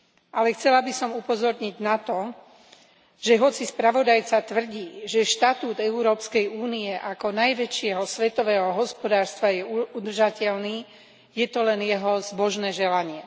Ale chcela by som upozorniť na to, že hoci spravodajca tvrdí, že štatút EÚ ako najväčšieho svetového hospodárstva je udržateľný, je to len jeho zbožné želanie.